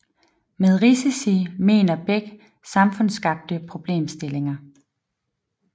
Med risici mener Beck samfundsskabte problemstillinger